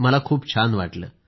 मला खूप छान वाटलं